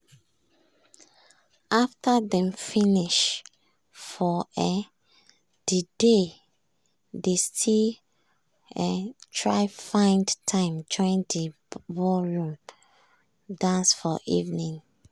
after dem don finish for um de day dey still um try find time join de ballroom dance for evening.